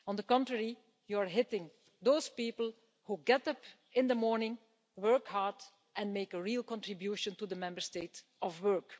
On the contrary, you are hitting those people who get up in the morning, work hard and make a real contribution to the Member State of work.